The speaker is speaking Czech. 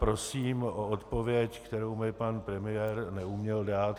Prosím o odpověď, kterou mi pan premiér neuměl dát.